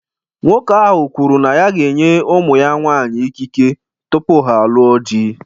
Nwoke ahụ kwuru na ya ga-enye ụmụ ya nwaanyị ikike tupu ha alụọ di.